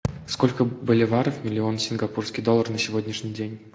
сколько боливаров миллион сингапурский доллар на сегодняшний день